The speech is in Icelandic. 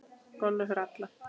Golf er fyrir alla